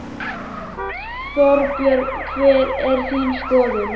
Þorbjörn: Hver er þín skoðun á þessu máli?